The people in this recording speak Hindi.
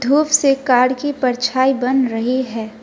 धूप से कार की परछाई बन रही है।